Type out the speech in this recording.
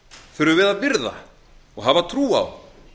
þurfum við að virða og hafa trú á